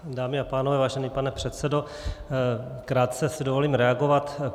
Dámy a pánové, vážený pane předsedo, krátce si dovolím reagovat.